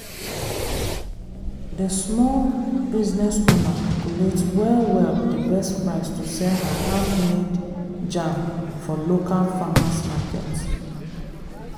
dey small business owner calculate well well d best price to sell her handmade jam for local farmer's market.